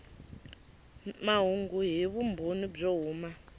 mahungu hi vumbhoni byo huma